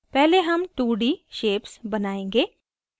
पहले हम 2d shapes बनायेंगे